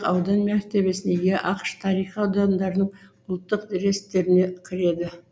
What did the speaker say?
аудан мәртебесіне ие ақш тарихи аудандарының ұлттық реестріне кіреді